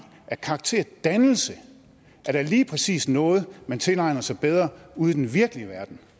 at karakterdannelse lige præcis er noget man tilegner sig bedre ud i den virkelige verden